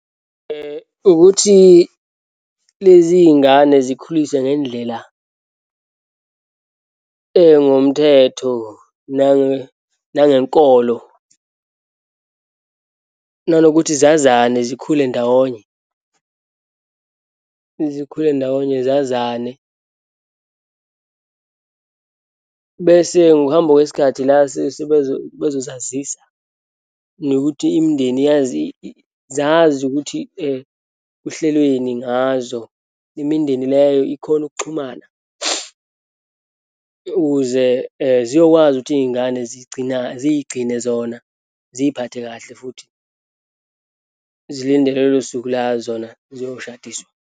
Ukuthi lezi iy'ngane zikhuliswe ngendlela engomthetho nangenkolo, nanokuthi zazana, zikhule ndawonye, zikhule ndawonye, zazane. Bese ngokuhamba kwesikhathi la bezosazisa nokuthi imindeni yazi zazi ukuthi kuhlelweni ngazo. Imindeni leyo ikhone ukuxhumana ukuze ziyokwazi ukuthi iyingane, zigcina ziyigcine zona, ziyiphathe kahle futhi, zilinde lolo suku la zona ziyoshadiswa.